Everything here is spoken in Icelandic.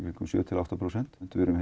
sjö til átta prósent við erum